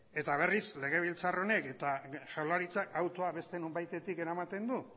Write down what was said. eta berriz legebiltzar honek eta jaurlaritzak autua beste nonbaitetik eramaten du